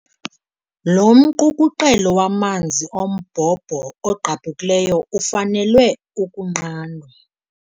Lo mqukuqelo wamanzi ombhobho ogqabhukileyo ufanele ukunqandwa.